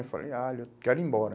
Eu falei, ah, eu quero ir embora.